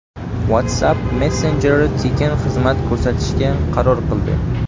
WhatsApp messenjeri tekin xizmat ko‘rsatishga qaror qildi.